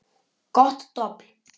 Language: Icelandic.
Gott dobl.